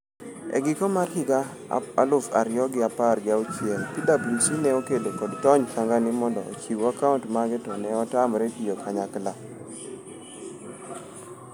E giko higa mar higa aluf ariyo gi apar gi auchiel, PWC ne okedo kod Tony Sanghani mondo ochiw akaunt mage to ne otamre tiyo kanyakla.